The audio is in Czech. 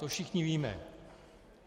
To všichni víme.